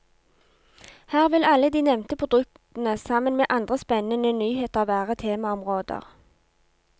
Her vil alle de nevnte produktene sammen med andre spennende nyheter være temaområder.